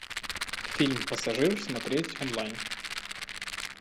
фильм пассажир смотреть онлайн